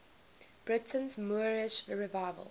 britain's moorish revival